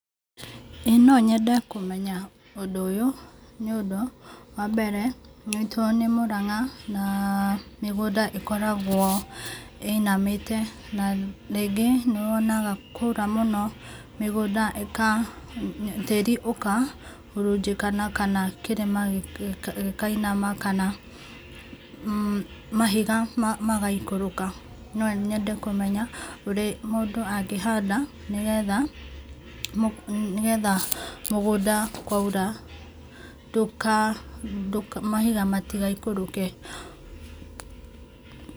Ĩĩ no nyende kũmenya ũndũ ũyũ nĩ ũndũ, wa mbere, gwitũ nĩ mũrang'a na mĩgũnda ĩkoragwo ĩinamĩte na rĩngĩ nĩ wonaga kwaura mũno mĩgũnda ĩka, tĩri ũkahurunjĩkana kana kĩrĩma gĩkainama kana mahiga magaikũrũka. No nyende kũmenya ũrĩa mũndũ angĩhanda nĩgetha, mũgũnda nĩgetha mũgũnda kwaura ndũka, mahiga matigaikũrũke.